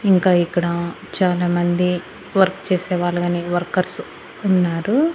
ఇంకా ఇక్కడా చాలామంది వర్క్ చేసే వాళ్ళు గానీ వర్కర్స్ ఉన్నారు.